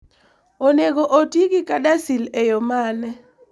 Onego oti gi CADASIL e yo mane?